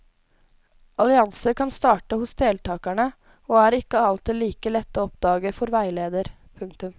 Allianser kan starte hos deltakerne og er ikke alltid like lette å oppdage for veileder. punktum